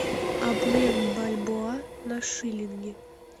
обмен бальбоа на шиллинги